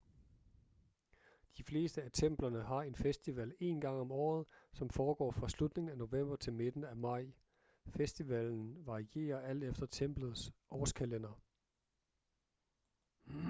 de fleste af templerne har en festival én gang i året som foregår fra slutningen af ​​november til midten af ​​maj. festivalen varierer alt efter templets årskalender